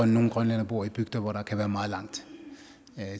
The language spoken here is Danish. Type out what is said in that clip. nogle grønlændere bor i bygder hvor der kan være meget langt